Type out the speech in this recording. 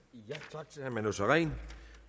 tak til herre manu sareen